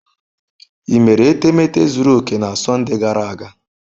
Ị mere etemeete zuru oke na Sọnde gara aga?